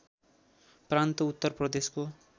प्रान्त उत्तर प्रदेशको